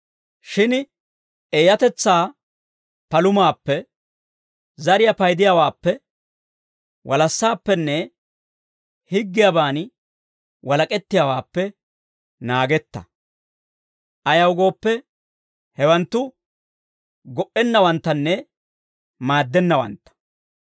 Shin eeyatetsaa palumaappe, zariyaa paydiyaawaappe, walassaappenne higgiyaaban walak'ettiyaawaappe naagetta. Ayaw gooppe, hewanttu go"ennawanttanne maaddennawantta.